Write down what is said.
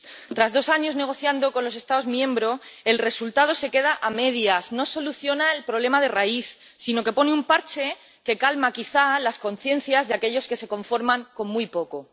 Tras dos años negociando con los Estados miembros, el resultado se queda a medias, no soluciona el problema de raíz, sino que pone un parche que calma, quizá, las conciencias de aquellos que se conforman con muy poco.